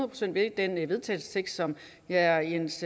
procent ved den vedtagelsestekst som herre jens